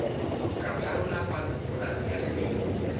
ka pharola polase ya lebelo